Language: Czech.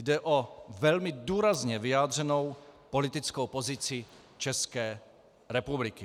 Jde o velmi důrazně vyjádřenou politickou pozici České republiky.